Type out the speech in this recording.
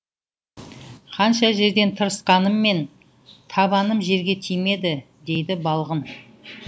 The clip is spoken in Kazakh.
қанша жерден тырысқаныммен табаным жерге тимеді дейді балғын